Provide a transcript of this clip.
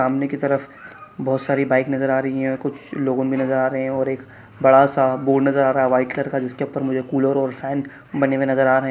सामने की तरफ बहुत सारी बाइक नज़र आ रही है कुछ लोगों भी नजर आ रहे है और एक बड़ा -सा बोर्ड नजर आ रहा है व्हाइट कलर का जिसके ऊपर मुझे कूलर और फैन बने हुए नजर आ रहे --